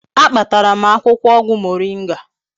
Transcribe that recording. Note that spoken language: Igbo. A kpatara m akwukwo ogwu moringa